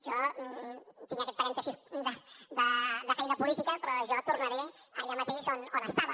jo tinc aquest parèntesi de feina política però jo tornaré allà mateix on estava